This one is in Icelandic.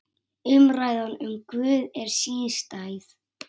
Umræðan um Guð er sístæð.